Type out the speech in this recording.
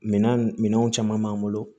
Minan minɛnw caman b'an bolo